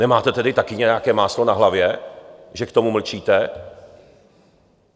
Nemáte tedy také nějaké máslo na hlavě, že k tomu mlčíte?